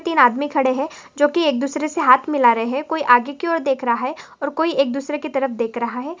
तीन आदमी खड़े है जो कि एक दूसरे से हाथ मिला रहे है कोई आगे की और देख रहा है और एक दूसरे की तरफ देख रहा है।